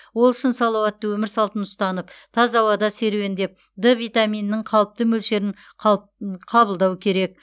ол үшін салауатты өмір салтын ұстанып таза ауада серуендеп д витаминінің қалыпты мөлшерін қабылдау керек